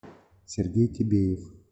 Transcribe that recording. сергей тибеев